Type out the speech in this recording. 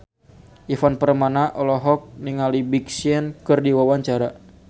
Ivan Permana olohok ningali Big Sean keur diwawancara